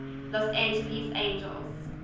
los angeles angels